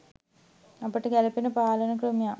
අපට ගැලපෙන පාලන ක්‍රමයක්